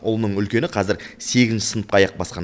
ұлының үлкені қазір сегізінші сыныпқа аяқ басқан